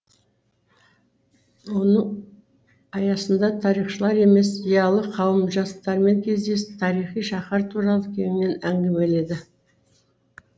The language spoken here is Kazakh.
оның аясында тарихшылар зиялы қауым жастармен кездесі тарихи шаһар туралы кеңінен әңгімеледі